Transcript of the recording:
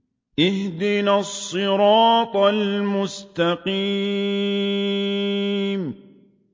اهْدِنَا الصِّرَاطَ الْمُسْتَقِيمَ